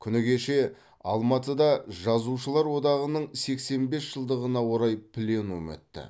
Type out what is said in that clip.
күні кеше алматыда жазушылар одағының сексен бес жылдығына орай пленум өтті